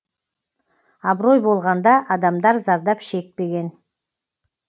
абырой болғанда адамдар зардап шекпеген